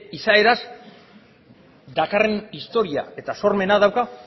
izaeraz dakarren historia eta sormena dauka